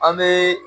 An bɛ